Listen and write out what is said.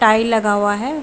Tile लगा हुआ है।